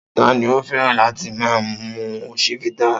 Ta ni ó fẹ́ràn láti máa mu Chivita?